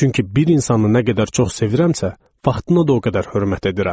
Çünki bir insanı nə qədər çox sevirəmsə, vaxtına da o qədər hörmət edirəm.